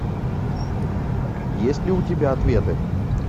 есть ли у тебя ответы